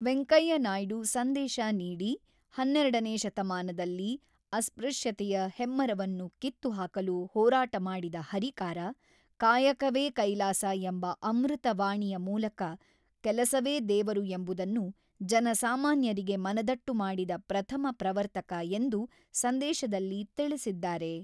ವೆಂಕಯ್ಯನಾಯ್ಡು ಸಂದೇಶ ನೀಡಿ, ಹನ್ನೆರಡನೇ ಶತಮಾನದಲ್ಲಿ ಅಸ್ಪೃಶ್ಯತೆಯ ಹೆಮ್ಮರವನ್ನು ಕಿತ್ತು ಹಾಕಲು ಹೋರಾಟ ಮಾಡಿದ ಹರಿಕಾರ, ಕಾಯಕವೇ ಕೈಲಾಸ ಎಂಬ ಅಮೃತ ವಾಣಿಯ ಮೂಲಕ ಕೆಲಸವೇ ದೇವರು ಎಂಬುದನ್ನು ಜನ ಸಾಮಾನ್ಯರಿಗೆ ಮನದಟ್ಟು ಮಾಡಿದ ಪ್ರಥಮ ಪ್ರವರ್ತಕ ಎಂದು ಸಂದೇಶದಲ್ಲಿ ತಿಳಿಸಿದ್ದಾರೆ.